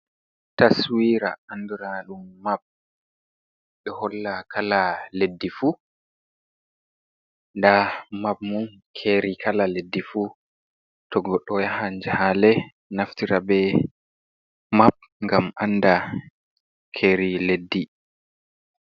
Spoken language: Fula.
Taswira anduraɗum map ɗo holla kala leddi fuu ndaa map mum, keeri kala leddi fuu to goɗɗo yahan jahaale naftira bee map ngam annda keeri leddi.